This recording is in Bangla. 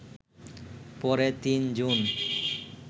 পরে ৩ জুন